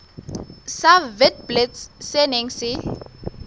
sa witblits se neng se